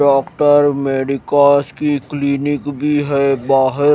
doctor medicals की clinic भी है बाहर--